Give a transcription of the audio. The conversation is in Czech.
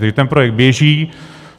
Tedy ten projekt běží.